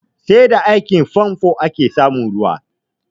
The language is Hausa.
Sai da aikin famfo ake samun ruwa